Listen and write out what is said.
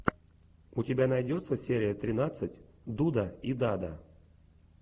у тебя найдется серия тринадцать дуда и дада